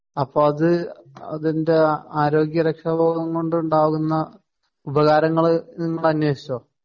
അപ്പോ അത് അതിന്റെ ആരോഗ്യ രക്ഷാബോധം കൊണ്ട് ഉണ്ടാകുന്ന ഉപകാരങ്ങള് നിങ്ങള് അന്വേഷിച്ചോ?